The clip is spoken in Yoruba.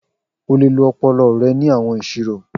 O le lo ọpọlọ rẹ ni awọn iṣiro.